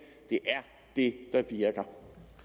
det er virker